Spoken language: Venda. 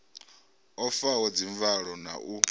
o faho dzimvalo na u